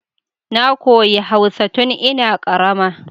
Na koyi hausa tun ina karama